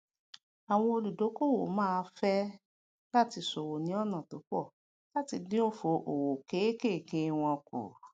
àwọn olùdókòwò máá fé é láti sòwò ní ònà tó pò làti dín òfò òwò ké è ké wọn kù